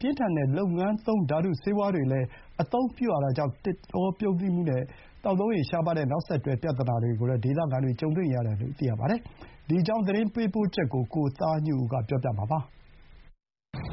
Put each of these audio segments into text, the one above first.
ပြင်းထန်တဲ့ လုပ်ငန်းသုံးဓာတုဆေးဝါးတွေလည်း သုံးရတာကြောင့် သစ်တောပြုန်းတီးမှုနဲ့ သောက်သုံးရေရှားပါးတဲ့ နောက်ဆက်တွဲပြဿနာတွေကို ဒေသခံတွေကြုံတွေ့နေရတယ်လို့ သိရပါတယ်။ ဒီအကြောင်း သတင်းပေးပို့ချက်ကို ကိုသားညွန့်ဦးက တင်ပြပေးထားပါတယ်။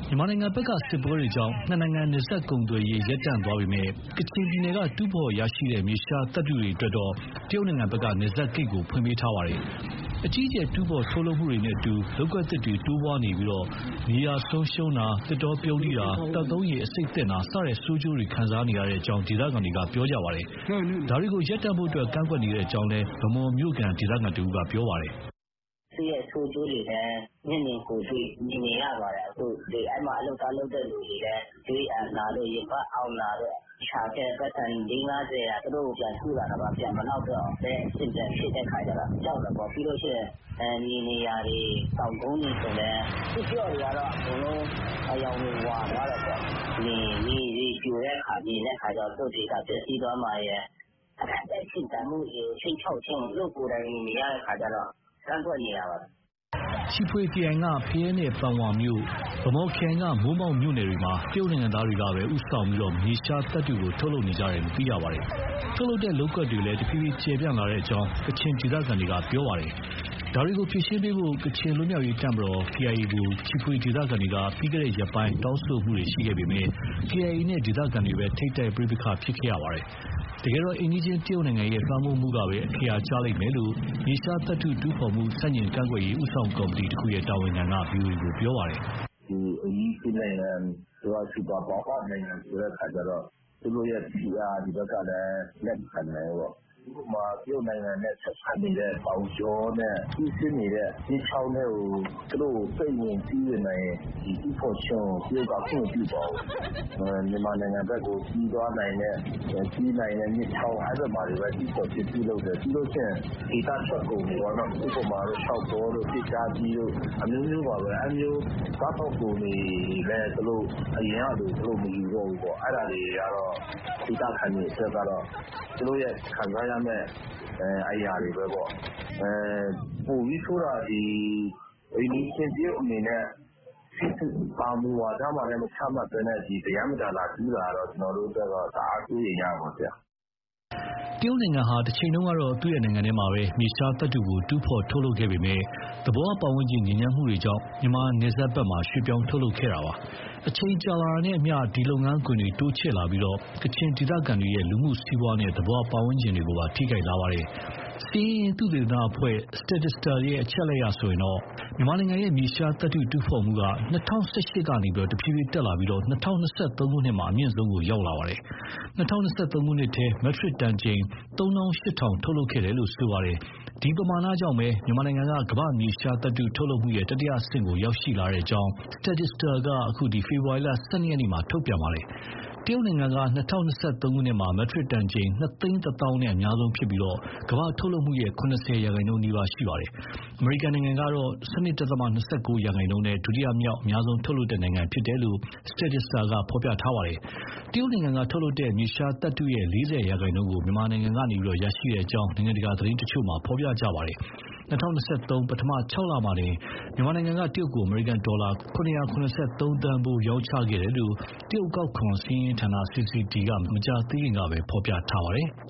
မြန်မာဘက်က စစ်ပွဲတွေကြောင့် နှစ်နိုင်ငံ နယ်စပ်ကုန်သွယ်ရေး ရပ်တန့်သွားပေမယ့် ကချင်ပြည်နယ်ကတူးဖော်ရရှိတဲ့ မြေရှားသတ္တုအတွက်တော့ တရုတ်က နယ်စပ်ဂိတ်ကို ဖွင့်ပေးထားပါတယ်။ အကြီးအကျယ် တူးဖော်ထုတ်လုပ်မှုတွေနဲ့အတူ လုပ်ကွက်သစ်တွေတိုးပွားနေပြီး မြေယာဆုံးရှုံးတာ၊ သစ်တောပြုန်းတီးတာ၊ သောက်သုံးရေ အဆိပ်သင့်တာ စတဲ့ ဆိုးကျိုးတွေ ခံစားနေရကြောင်း ဒေသခံတွေက ပြောပါတယ်။ ဒါတွေကို ရပ်တန့်ဖို့ ကန့်ကွက်နေကြောင်းလည်း ဗန်းမော်မြို့က ဒေသခံတဦးက ပြောပါတယ်။ "သူ့ရဲ့ဆိုးကျိုးတွေလည်း မျက်မြင်ကိုယ်တွေ့ မြင်နေရပါတယ်။ အဲမှာ (တူးဖော်ရေးမှာ) အလုပ်သွားလုပ်တဲ့သူတွေလည်း သွေးအန်တာတို့၊ ရင်ဘတ်အောင့်တာတို့ ရှာခဲ့တဲ့ပိုက်ဆံ လေးငါးဆယ်က သူတို့ပြန်ကုတာတောင်မှ မလောက်တော့တဲ့အဆင့် ပြန်ဖြစ်တဲ့အခါကြတော့ ကြောက်တာပေါ့။ ပြီးရင် မြေနေရာတွေ၊ တောင်ကုန်းတွေဆိုလည်း သစ်ပျော့တွေကတော့ အကုန်လုံး အရောင်တွေ ဝါသွားတယ်ပေါ့။ မြေတွေပြိုတာမြင်တဲ့အခါကျတော့ သူတို့ဒေသ ပျက်စီးသွားမှာရယ်၊ အသက်ရှင်သန်မှုတွေကို ခြိမ်းခြောက်ခြင်းကို သူတို့ကိုယ်တိုင်မြင်နေရတော့ ကန့်ကွက်နေတာပါ။" ချီဖွေခရိုင်က ဖရဲနဲ့ ပန်ဝါမြို့၊ ဗန်းမော်ခရိုင်က မိုးမောက်မြို့နယ်တွေမှာ တရုတ်နိုင်ငံသားတွေဦးဆောင်ပြီး မြေရှားသတ္တုကို ထုတ်လုပ်နေကြတာပါ။ လုပ်ကွက်တွေလည်း တဖြည်းဖြည်း ကျယ်ပြန့်လာကြောင်း ကချင်ဒေသခံတွေက ပြောပါတယ်။ ဒါတွေကို ဖြေရှင်းပေးဖို့ ကချင်လွတ်မြောက်ရေးတပ်မတော် KIA ကို ချီဖွေဒေသခံတွေက ပြီးခဲ့တဲ့ရက်ပိုင်းကတောင်းဆိုခဲ့ပေမဲ့ KIA နဲ့ ဒေသခံတွေပဲ ထိပ်တိုက်ပဋိပက္ခဖြစ်ခဲ့ရပါတယ်။ တကယ်တော့ အိမ်နီးချင်းတရုတ်ရဲ့ လွှမ်းမိုးမှုကပဲ အခရာကျလိမ့်မယ်လို့ မြေရှားသတ္တုတူးဖော်မှု ဆန့်ကျင့်ကန့်ကွက်ရေး ဦးဆောင်ကော်မတီတခုရဲ့တာဝန်ခံက ဗွီအိုအေကို ပြောပါတယ်။ "အိမ်နီးချင်းနိုင်ငံက စူပါ ပါဝါဆိုတဲ့အခါကျတော့ သူတို့ရဲ့ဖိအားကို ဒီဘက်ကလည်း မခံနိုင်ဘူးပေါ့။ ဥပမာ တရုတ်နိုင်ငံနဲ့ ဆက်စပ်နေတဲ့တောင်ကြောနဲ့ စီးဆင်းနေတဲ့ မြစ်ချောင်းထဲကို စိမ့်ဝင်၊ စီးဝင်နိုင်ရင် တူးဖော်ခြင်းကို တရုတ်က ခွင့်မပြုပါဘူး။ မြန်မာနိုင်ငံဘက်ကို စီးသွားနိုင်တဲ့ စီးနိုင်တဲ့မြစ်ချောင်း အဲဘက်မှာတွေပဲ တူးဖော်ခြင်းပြုလုပ်တယ်။ ပြီးရင် ဒေသထွက်ကုန်တွေပေါ့နော် ဥပမာ ရှောက်ကော်တို့၊ သစ်ကြားသီးတို့ အမျိုးမျိုးပါပဲ။ အဲလိုစားသောက်ကုန်တွေလည်း အရင်ကလို သူတို့မယူတော့ဘူးပေါ့။ အဲဒါတွေကတော့ ဒေသခံတွေအတွက်ကတော့ သူတို့ခံစားရတဲ့ အရာတွေပဲပေါ့။ ပိုပြီးဆိုးတာက အိမ်နီးချင်း တရုတ်အနေနဲ့ ဘာမူဝါဒမှ မချမှတ်ဘဲနဲ့ ပရမ်းပတာ လာတူးတာကတော့ ကျနော်တို့အတွက်က တအားစိုးရိမ်ရပါတယ်။" တရုတ်နိုင်ငံဟာ တချိန်တုန်းကတော့ သူ့နိုင်ငံထဲမှာ မြေရှားသတ္တုကို တူးဖော် ထုတ်လုပ်ခဲ့ပေမဲ့ သဘာဝပတ်ဝန်းကျင် ညစ်ညမ်းမှုတွေကြောင့် မြန်မာနယ်စပ်ကို ရွှေ့ပြောင်း ထုတ်လုပ်ခဲ့တာပါ။ အချိန်ကြာလာတာနဲ့အမျှ ဒီလုပ်ငန်းခွင်တွေ တိုးချဲ့လာပြီး ကချင်ဒေသခံတွေရဲ့ လူမှုစီးပွားနဲ့ သဘာဝ ပတ်ဝန်းကျင်တွေကို ထိခိုက်လာပါတယ်။ စာရင်းအင်း သုသေသနအဖွဲ့ Statista ရဲ့ အချက်အလက်အရဆိုရင် မြန်မာနိုင်ငံရဲ့ မြေရှားသတ္တုတူးဖော်မှုက ၂၀၁၈ ကနေ တဖြည်းဖြည်းတက်လာပြီး ၂၀၂၃ မှာ အမြင့်ဆုံးကို ရောက်နေပါတယ်။ ၂၀၂၃ ခုနှစ်ထဲ မက်ထရစ်တန်ချိန် ၃၈,၀၀၀ ထုတ်လုပ်ခဲ့တယ်လို့ဆိုပါတယ်။ ဒီပမာဏကြောင့်ပဲ မြန်မာက ကမ္ဘာ့မြေရှားသတ္တု ထုတ်လုပ်မှုရဲ့ တတိယအဆင့်ကို ရောက်ရှိနေကြောင်း Statista က အခု ဖေဖော်ဝါရီလ ၁၂ ရက်မှာ ထုတ်ပြန်ခဲ့ပါတယ်။ တရုတ်က ၂၀၂၃ မှာ မက်ထရစ်တန်ချိန် ၂၁၀,၀၀၀ နဲ့ အများဆုံးဖြစ်ပြီး ကမ္ဘာ့ထုတ်လုပ်မှုရဲ့ ၇၀ ရာခိုင်နှုန်းနီးပါး ရှိပါတယ်။ အမေရိကန်ကတော့ ၁၂.၂၉ ရာခိုင်နှုန်းနဲ့ ဒုတိယမြောက် အများဆုံး ထုတ်လုပ်တဲ့ နိုင်ငံဖြစ်တယ်လို့ Statista ကဖော်ပြထားပါတယ်။ တရုတ်ကထုတ်လုပ်နေတဲ့ မြေရှားသတ္တုရဲ့ ၄၀ ရာခိုင်နှုန်းကို မြန်မာကနေ ရရှိနေကြောင်း နိုင်ငံတကာ သတင်းတချို့မှာ ဖော်ပြကြပါတယ်။ ၂၀၂၃ ပထမ ခြောက်လထဲမှာတင် မြန်မာက တရုတ်ကို အမေရိကန်ဒေါ်လာ ၇၇၃ သန်းဖိုး ရောင်းချခဲ့တယ်လို့ တရုတ်အကောက်ခွန် စာရင်းအင်းဌာန CCD က မကြာသေးခင်ကပဲ ဖော်ပြထားပါတယ်။